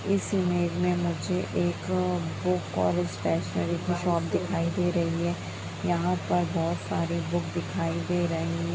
इस इमेज में मुझे एक बुक और स्टेशनरी की शॉप दिखाई दे रही है यहाँ पर बहुत सारी बुक दिखाई दे रही--